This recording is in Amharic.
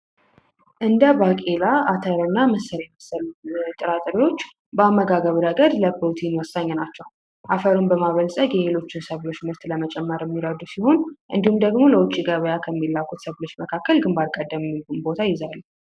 እንደ ባቄላ ፣አተር እና ምስር የመሳሰሉ ጥራጥሬዎች በአመጋገብ ረገድ ለፕሮቲን ወሳኝ ናቸው። አፈርን በማበልፀግ የሌሎች ሰብሎችን ምርት በመጨመር የሚረዱ ሲሆን እንዲሁም ደግሞ ለውጭ ገበያ ከሚላኩ ሰብሎች መካከል ግንባር ቀደም ቦታ ይይዛሉ።